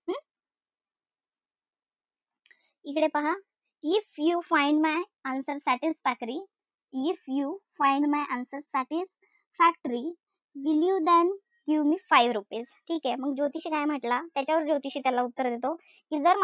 इकडे पहा. If you find my answers if you find my answers satisfactory will you then give me five rupees ठीकेय? मग ज्योतिषी काय म्हंटला? त्याच्यावर ज्योतिषी त्याला उत्तर देतो कि जर,